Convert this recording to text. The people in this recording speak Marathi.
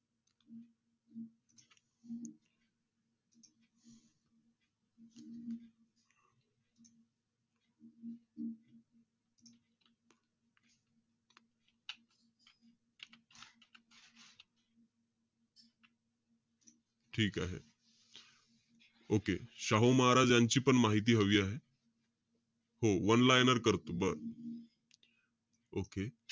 ठीक आहे. okay. शाहू महाराज यांचीपण माहिती हवी आहे. हो, one liner करतो. बरं. okay.